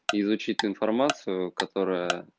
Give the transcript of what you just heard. изучи ты информацию которая